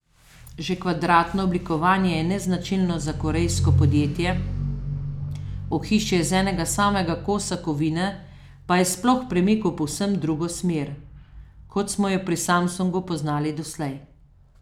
Že kvadratno oblikovanje je neznačilno za korejsko podjetje, ohišje iz enega samega kosa kovine pa je sploh premik v povsem drugo smer, kot smo jo pri Samsungu poznali doslej.